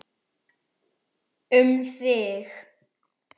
Um þig.